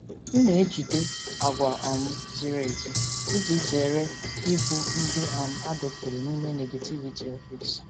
M na-ejigide àgwà um ziri ezi iji zere ịbụ ndị um a dọkpụrụ n'ime negativity ọfịs.